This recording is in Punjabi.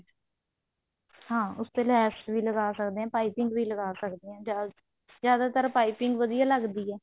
ਹਾਂ ਉਸ ਤੇ ਲੈਸ ਵੀ ਲਗਾ ਸਕਦੇ ਹਾਂ ਪਾਈਪਿੰਨ ਵੀ ਲਗਾ ਸਕਦੇ ਹਾਂ ਜਿਆਦਾਤਰ ਪਾਈਪਿੰਨ ਵਧੀਆ ਲੱਗਦੀ ਹੈ